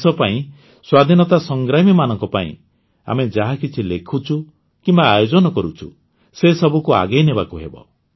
ଦେଶ ପାଇଁ ସ୍ୱାଧୀନତା ସଂଗ୍ରାମୀମାନଙ୍କ ପାଇଁ ଆମେ ଯାହାକିଛି ଲେଖୁଛୁ କିମ୍ବା ଆୟୋଜନ କରୁଛୁ ସେ ସବୁକୁ ଆଗେଇ ନେବାକୁ ହେବ